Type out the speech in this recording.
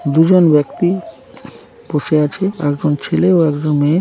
দুজন ব্যক্তি বসে আছে | একজন ছেলে ও একজন মেয়ে।